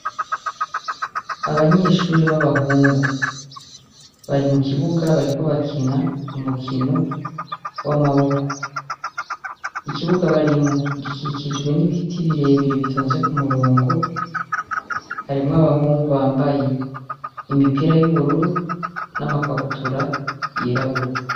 Abanyeshuri b'abahungu bari mu kibuga bariko bakina umukino w'amaboko ikibuga barimwo gikikijwe n'ibiti birebire bitonze ku murongo harimwo abahungu bambaye imipira y'ubururu n'amakabutura yerabura.